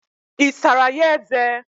Isara ya eze?